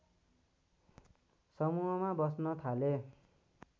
समूहमा बस्न थाले